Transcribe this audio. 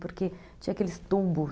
Porque tinha aqueles tubos.